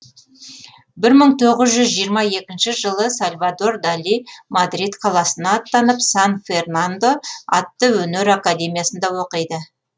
бір мың тоғыз жүз жиырма екінші жылы сальвадор дали мадрид қаласына аттанып сан фернандо атты өнер академиясында оқиды